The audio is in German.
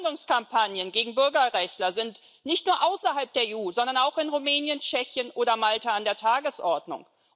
Verleumdungskampagnen gegen Bürgerrechtler sind nicht nur außerhalb der EU, sondern auch in Rumänien, Tschechien oder Malta an der Tagesordnung.